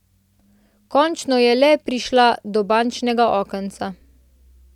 Končno je le prišla do bančnega okenca.